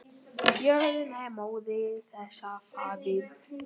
Jörðin er móðir þess og faðir.